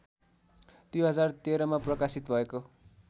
२०१३मा प्रकाशित भएको